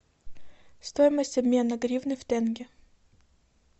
стоимость обмена гривны в тенге